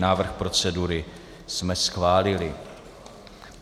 Návrh procedury jsme schválili.